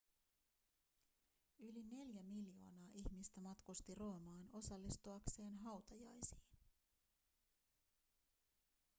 yli neljä miljoonaa ihmistä matkusti roomaan osallistuakseen hautajaisiin